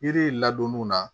Yiri in ladonniw na